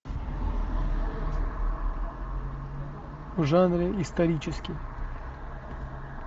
в жанре исторический